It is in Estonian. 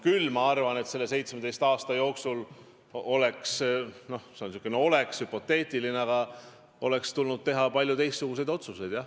Küll ma arvan, et selle 17 aasta jooksul oleks – noh, see on säärane hüpoteetiline "oleks" – tulnud teha palju teistsuguseid otsuseid.